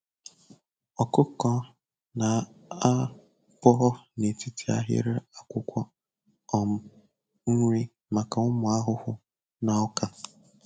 Ọkụkọ na-a bọọ n'etiti ahịrị akwụkwọ um nri maka ụmụ ahụhụ na ọka.